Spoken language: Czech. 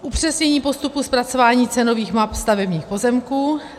upřesnění postupu zpracování cenových map stavebních pozemků;